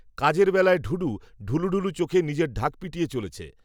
কাজের বেলায় ঢুঢু, ঢুলুঢুলু চোখে নিজের ঢাক পিটিয়ে চলেছে